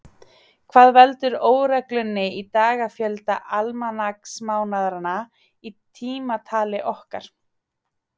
Hvað veldur óreglunni í dagafjölda almanaksmánaðanna í tímatali okkar?